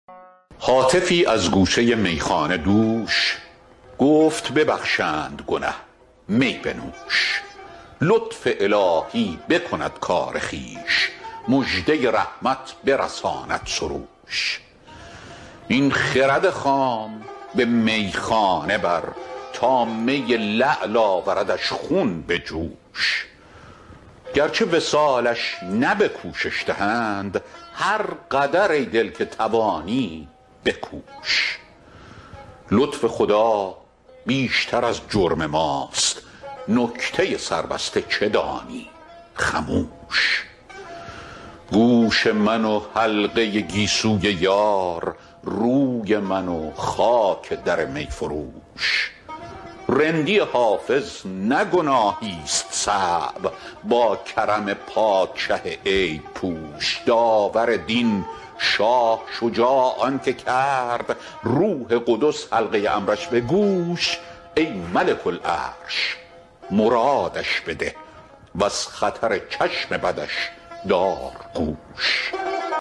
هاتفی از گوشه میخانه دوش گفت ببخشند گنه می بنوش لطف الهی بکند کار خویش مژده رحمت برساند سروش این خرد خام به میخانه بر تا می لعل آوردش خون به جوش گرچه وصالش نه به کوشش دهند هر قدر ای دل که توانی بکوش لطف خدا بیشتر از جرم ماست نکته سربسته چه دانی خموش گوش من و حلقه گیسوی یار روی من و خاک در می فروش رندی حافظ نه گناهیست صعب با کرم پادشه عیب پوش داور دین شاه شجاع آن که کرد روح قدس حلقه امرش به گوش ای ملک العرش مرادش بده و از خطر چشم بدش دار گوش